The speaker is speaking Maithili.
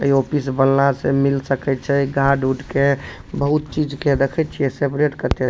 इ ऑफिस बनला से मिल सके छै गार्ड उड के बहुत चीज के देखे छीये सेपरेट कते --